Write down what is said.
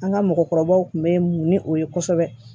An ka mɔgɔkɔrɔbaw kun bɛ o ye kosɛbɛ